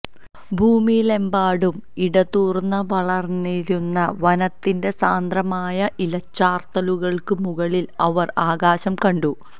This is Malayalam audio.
ഭൂമിയിലെമ്പാടും ഇടതൂർന്നു വളർന്നിരുന്ന വനത്തിന്റെ സാന്ദ്രമായ ഇലച്ചാർത്തുകൾക്കു മുകളിൽ അവർ ആകാശം കണ്ടു